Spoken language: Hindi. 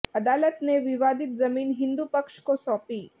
अदालत ने विवादित जमीन हिंदू पक्ष को सौंपी